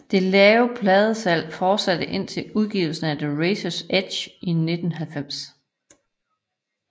Det lave pladesalg fortsatte indtil udgivelsen af The Razors Edge i 1990